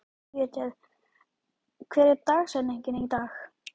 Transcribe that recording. Judith, hver er dagsetningin í dag?